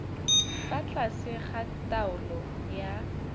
fa tlase ga taolo ya